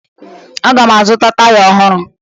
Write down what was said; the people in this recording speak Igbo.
Aga m azụta taya ọhụrụ